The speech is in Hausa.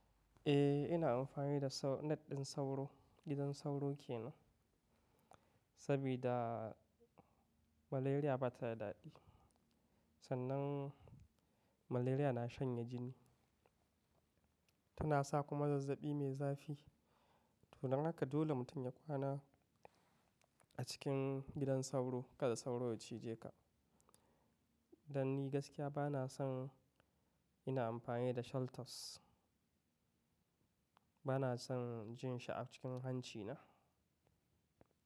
Eh ina amfani da sau, net ɗin sauro, gidan sauro ke nan. Sabida malaria bata da daɗi. Sannan malaria na shanye jini, tana sa kuma zazzaɓi mai zafi. Don haka dole mutum ya kwana a cikin gidan sauro, kada sauro ya cije ka. Dan ni gaskiya bana son ina amfani da shelters. Bana son jin shi a cikin hanci na.